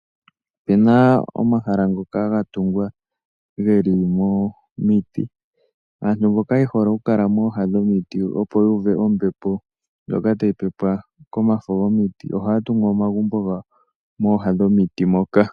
Ope na omahala ngoka ga tungwa geli momiti. Aantu mboka ye hole okukala mooha dhomiti opo ya uve ombepo ndjoka tayi pepwa komafo gomiti, ohaya tungu omagumbo gawo mooha dhomiti moka.